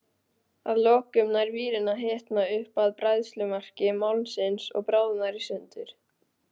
Að lokum nær vírinn að hitna upp að bræðslumarki málmsins og bráðnar í sundur.